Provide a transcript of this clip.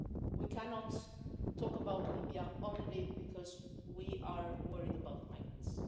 We cannot talk about Libya only because we are worried about the migrants.